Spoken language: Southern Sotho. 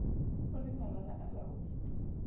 o le malala a laotswe